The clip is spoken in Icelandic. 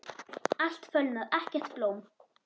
Allt er fölnað, ekkert blóm.